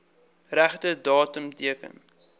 regte datum teken